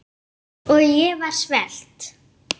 Hann skuli sjá um þetta.